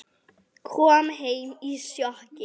Kom heim í sjokki.